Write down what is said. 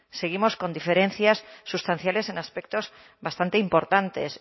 seguimos con diferencias sustanciales en aspectos bastante importantes